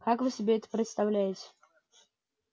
как вы себе это представляете